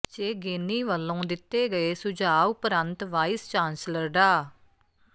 ਚੇਗੇਨੀ ਵਲੋਂ ਦਿੱਤੇ ਗਏ ਸੁਝਾਅ ਉਪਰੰਤ ਵਾਈਸ ਚਾਂਸਲਰ ਡਾ